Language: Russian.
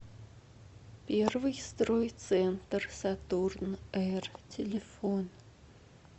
первый стройцентр сатурн р телефон